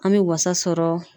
An be wasa sɔrɔ